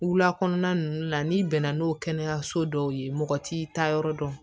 Wula kɔnɔna ninnu la n'i bɛnna n'o kɛnɛyaso dɔw ye mɔgɔ t'i taa yɔrɔ dɔn